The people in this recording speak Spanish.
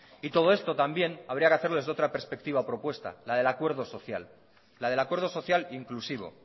y todo esto también habría que hacerlo desde otra perspectiva propuesta la del acuerdo social la del acuerdo social inclusivo